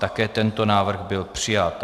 Také tento návrh byl přijat.